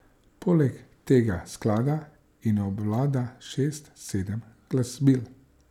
Poleg tega sklada in obvlada šest, sedem glasbil.